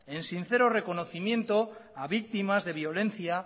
en sincero reconocimiento a víctimas de violencia